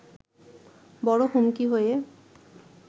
বড় হুমকি হয়ে